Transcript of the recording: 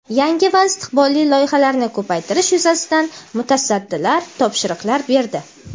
yangi va istiqbolli loyihalarni ko‘paytirish yuzasidan mutasaddilarga topshiriqlar berdi.